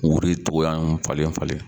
Wuru cogoya falen falen